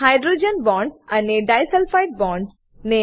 hydrogen bonds અને disulphide bonds